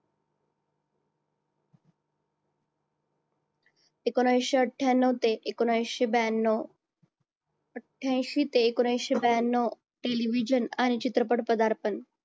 एकोणविशे आठयान्नव ते एकोणविशे ब्यांनव अट्ठ्याऐन्शी ते एकोणविशे ब्यांनाव television आणि चित्रपट पदार्पण